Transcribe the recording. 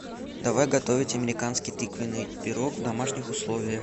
давай готовить американский тыквеный пирог в домашних условиях